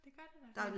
Det gør det da